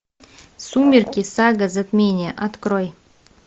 сумерки сага затмение открой